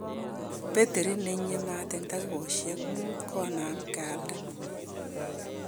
Betiriit nenyie maat en takikosyeek muut konaam kyalda